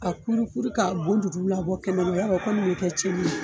A kurukuru k'a bonjujuru labɔ kɛnɛma yar'ɔ o kɔni bɛ kɛ cɛnnin ye